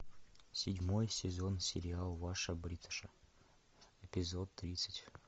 седьмой сезон сериал ваша бриташа эпизод тридцать